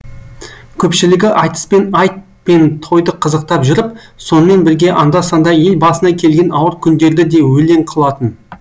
көпшілігі айтыспен айт пен тойды қызықтап жүріп сонымен бірге анда санда ел басына келген ауыр күндерді де өлең қылатын